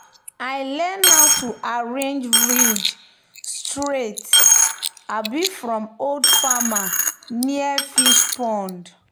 "i learn how to arrange ridge straight um from old farmer near fishpond."